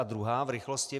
A druhá v rychlosti.